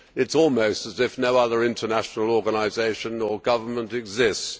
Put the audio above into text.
It is almost as if no other international organisation or government exists.